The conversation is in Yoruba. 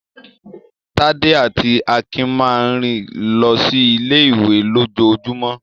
Tádé àti Akin máa ń rìn lọ sí ilé-ìwé lójoojúmọ́.